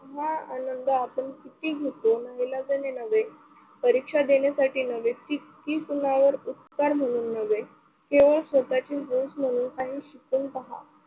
हा आनंद आपण किती घेतो नाईलाजाने नव्हे, परीक्षा देण्यासाठी नव्हे, की कुणावर उपकार म्हणून नव्हे स्वतःची हौस म्हणून शिकून पहा.